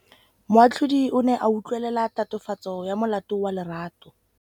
Moatlhodi o ne a utlwelela tatofatsô ya molato wa Lerato.